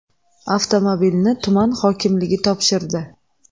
Avtomobilni tuman hokimligi topshirdi.